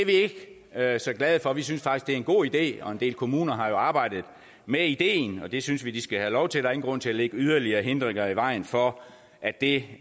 er vi ikke så glade for vi synes faktisk at det er en god idé og en del kommuner har jo arbejdet med ideen og det synes vi de skal have lov til der er ingen grund til at lægge yderligere hindringer i vejen for at det